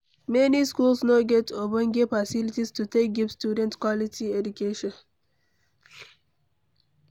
Many schools no get ogbonge facilities to take give student quality education